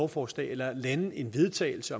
forslag eller lande en vedtagelse